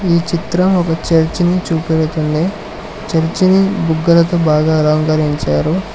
ఈ చిత్రం ఒక చర్చిని చూపెడుతుంది చర్చిని బుగ్గల తో బాగా అలంకరించారు.